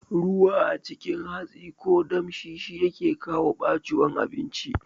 Ruwa a cikin hatsi ko damshi shi yake kawo ɓaciwan abinci